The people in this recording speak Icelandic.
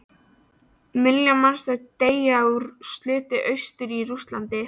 Milljón manns deyr úr sulti austur í Rússlandi.